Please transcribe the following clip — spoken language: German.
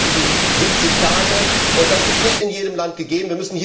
In Deutschland reichen sie 70 Tage, und das ist nicht in jedem Land gegeben.